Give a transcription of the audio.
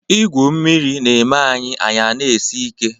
Igwu mmiri na-eme anyị anyị a na-esi ike.